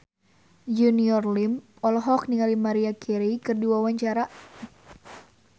Junior Liem olohok ningali Maria Carey keur diwawancara